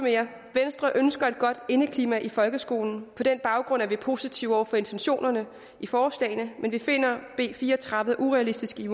venstre ønsker et godt indeklima i folkeskolen på den baggrund er vi positive over for intentionerne i forslagene men vi finder b fire og tredive urealistisk i